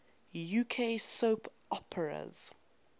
uk soap operas